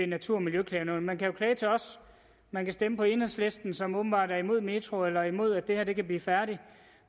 natur og miljøklagenævnet man kan jo klage til os man kan stemme på enhedslisten som åbenbart er imod metroen eller imod at det her kan blive færdigt